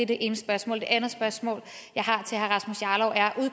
det ene spørgsmål det andet spørgsmål